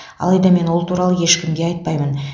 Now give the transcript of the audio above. алайда мен ол туралы ешкімге айтпаймын